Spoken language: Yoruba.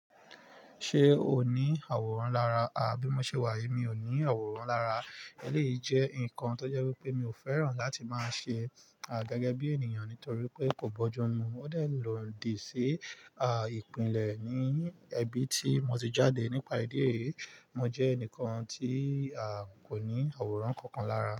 Ṣé o ní àwòrán lára? Ah! Bí mo ṣe wà yí, mi ò ní àwòrán lára. Eleyii jẹ́ nǹkan tó jẹ́ wípé mi ò fẹ́ràn láti máa ṣe gẹ́gẹ́ bí ènìyàn nítorí pé kò bọ́jú mu. Ó dẹ̀ lòdì sí a ìpìlẹ̀ ní ẹbí tí mo ti jáde nípa ìdí èyí. Mo jẹ́ ẹnìkan tí a kò ní àwòrán kankan lára.